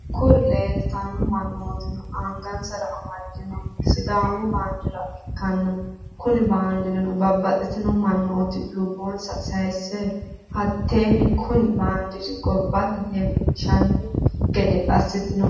Kurino lilitano mannotti angassa amadinohuno sidaamu banidira ikana kuni bandirinno babatitino mannoti lubonnisa sayisse hatenni kooni bandira gobatte lelinshshani gede asittinno.